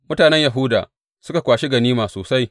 Mutanen Yahuda suka kwashi ganima sosai.